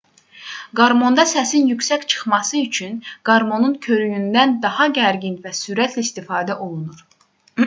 qarmonda səsin yüksək çıxması üçün qarmonun körüyündən daha gərgin və sürətlə istifadə olunur